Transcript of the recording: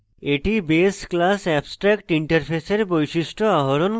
এটি base class abstractinterface এর বৈশিষ্ট্য আহরণ করে